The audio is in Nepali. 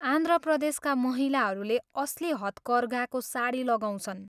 आन्ध्र प्रदेशका महिलाहरूले असली हतकर्घाको साडी लगाउँछन्।